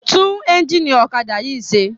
Tún ẹ́ńjínì ọ̀kadà yìí ṣe!